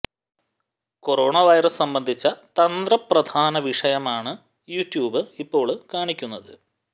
corona virus സംബന്ധിച്ച തന്ത്രപ്രധാന വിഷയമാണ് യൂട്യൂബ് ഇപ്പോള് കാണിക്കുന്നത്